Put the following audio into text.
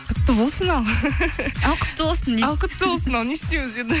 құтты болсын ал ал құтты болсын ал құтты болсын ал не істейміз енді